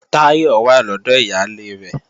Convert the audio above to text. Táyọ̀ wà lọ́dọ̀ ìyálé rẹ̀